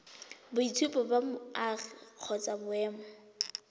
boitshupo ba boagi kgotsa boemo